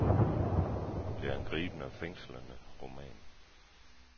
Det er en gribende og fængslende roman.